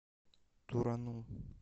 турану